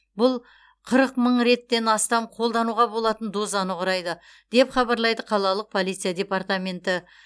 бұл қырық мың реттен астам қолдануға болатын дозаны құрайды деп хабарлайды қалалық полиция департаменті